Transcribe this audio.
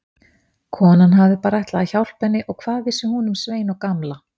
Konan hafði bara ætlað að hjálpa henni og hvað vissi hún um Svein og Gamla.